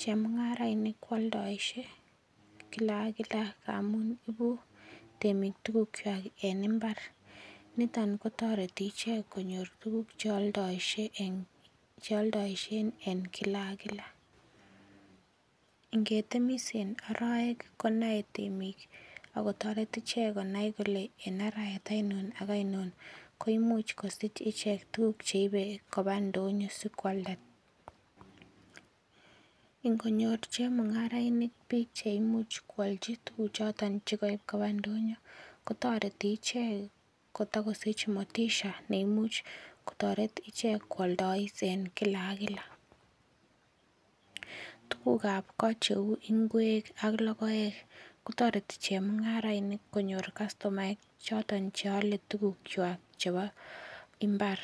Chemung'arainik kooldoishe kila ak kila ngamun ibu temik tukuchwai en imbar niton kotoreti ichek konyor tukuk cheoldoishen en kila kila ngetemis en oroek konoei temik akotoret ichek konai kole in arawet ainon ak ainon ko imuuch kosich ichek tukuk cheibei koba ndonyo sikoalda ingonyor chemung'arainik biik cheimuch kwolchi tukuchoton chikaib koba ndonyo kotoreti ichek kotikosich motisha neimuch kotoret ichek kwoldois en kila ak kila tukukab ko cheu ng'wek ak lokoek kotoreti chemung'arainik konyor kastomoek choton cheole tukuchwai chebo imbar